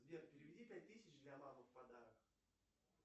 сбер переведи пять тысяч для мамы в подарок